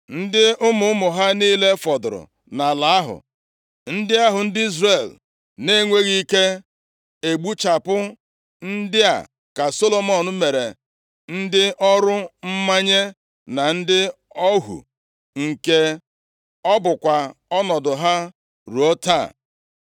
ndị ụmụ ụmụ ha niile fọdụrụ nʼala ahụ, ndị ahụ ndị Izrel na-enweghị ike egbuchapụ, ndị a ka Solomọn mere ndị ọrụ mmanye na ndị ohu, nke a bụkwa ọnọdụ ha ruo taa.